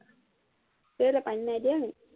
কেলেই পানী নিদিয় নি